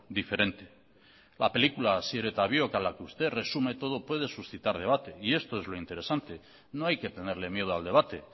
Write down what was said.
diferente la película asier eta biok a la que usted resume todo puede suscitar debate y esto es lo interesante no hay que tenerle miedo al debate